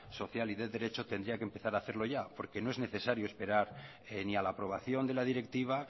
social y de derecho tendría que empezar hacerlo ya porque no es necesario esperar ni a la aprobación de la directiva